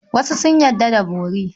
Wasu sun yarda da bori.